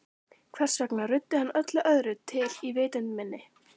Hvers vegna ruddi hann öllu öðru til í vitund minni?